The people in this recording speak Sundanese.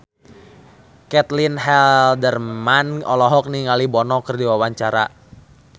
Caitlin Halderman olohok ningali Bono keur diwawancara